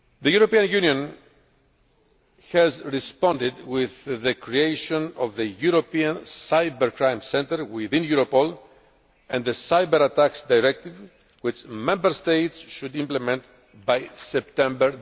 The European Union has responded with the creation of the European Cybercrime Centre within Europol and the Cyber Attacks Directive, which Member States should implement by September